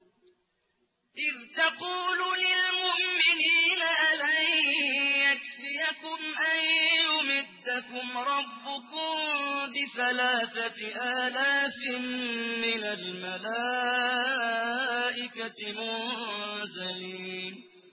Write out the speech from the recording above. إِذْ تَقُولُ لِلْمُؤْمِنِينَ أَلَن يَكْفِيَكُمْ أَن يُمِدَّكُمْ رَبُّكُم بِثَلَاثَةِ آلَافٍ مِّنَ الْمَلَائِكَةِ مُنزَلِينَ